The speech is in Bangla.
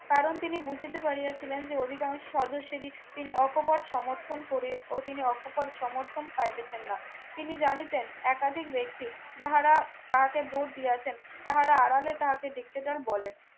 কারণ তিনি বুঝতে পারিয়াছিলেন যে অধিকাংশ সদস্যেরই তিনি অকোপর সমর্থন করে ও তিনি অকোপর সমর্থন পাইতেছেন না তিনি জানিতেন একাধিক ব্যক্তি যাহারা তাকে ভোট দিয়েছেন তারা আড়ালে তাহাকে দেখতে চান বলেন।